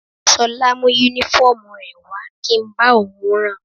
Ṣọlá mú Únífọ́ọ̀mù rẹ̀ wá kí n bá òun ran